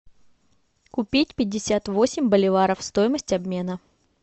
купить пятьдесят восемь боливаров стоимость обмена